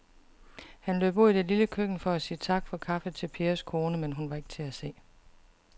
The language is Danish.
Han løb ud i det lille køkken for at sige tak for kaffe til Pers kone, men hun var ikke til at se.